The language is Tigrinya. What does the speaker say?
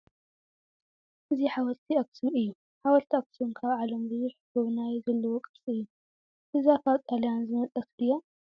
እዚ ሓወልቲ ኣክሱም እዩ :: ሓወልቲ ኣክሱም ካብ ዓለም ብዙሕ ጎብናይ ዘለዎ ቅርሲ እዩ:: እዛ ካብ ጣልያን ዝመፀት ድያ ?